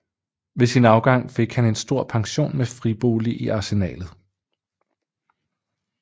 Ved sin afgang fik han en stor pension med fribolig i Arsenalet